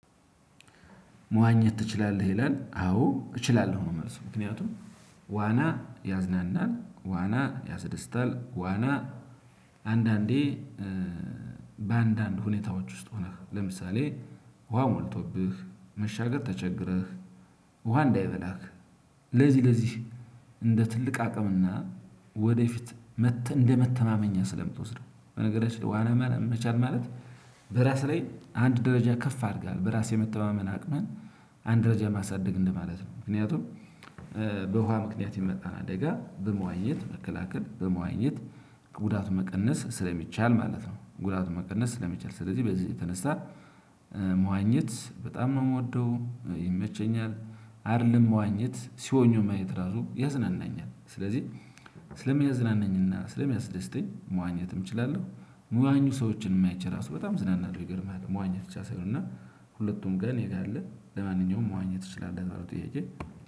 መዋኘት ትችላለህ ይላል አዎ እችላለሁ ነው። መልሱ ምክንያቱም ዋና ያዝናናል ዋና ያስደስታል ዋና። አንዳንዴ በአንዳንድ ሁኔታዎች ውስጥ ሆነህ ለምሳሌ ውሃ ሞልቶብህ መሻገር ተቸግረህ። ውሃ እንዳይበላክ። ለዚህ ለዚህ እንደ ትልቅ አቅምና ወደፊት እንደመተማመኛ ስለምትወስደው በነገራችን ላይ ዋና መቻል። ማለት በራስህ ላይ አንድ ደረጃ ከፍ አድርገሃል በራስ የመተማመን አቅምህን አንድ ደረጃ ማሳደግ እንደ ማለት ነው። ምክንያቱም በውሃ ምክንያት የመጣን አደጋ በመዋኘት መከላከል በመዋኘት ጉዳት መቀነስ ስለሚቻል ማለት ነው። ጉዳት መቀነስ ስለሚቻል ስለዚህ በዚህ የተነሳ መዋኘት በጣም ነው የምወደው። ይመቸኛል አይደለም መዋኘት ሲዋኙ ማየት ራሱ ያዝናናኛል። ስለዚህ ስለሚያዝናናኝና ስለሚያስደስተኝ መዋኘትም እችላለሁ። ሚዋኙ ሰዎችንም አይቼ ራሱ በጣም እዝናናለሁ። ይገርምሃል። መዋኘት ብቻ ሳይሆን እና ሁለቱም ጋር እኔ ጋር አለ ለማንኛውም መዋኘት ትችላለህ ለተባለው ጥያቄ